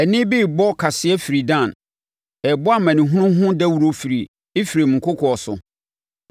Ɛnne bi rebɔ kaseɛ firi Dan, ɛrebɔ amanehunu ho dawuro firi Efraim nkokoɔ so.